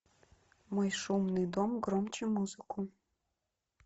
мой шумный дом громче музыку